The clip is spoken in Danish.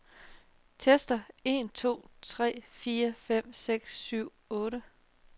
Tester en to tre fire fem seks syv otte.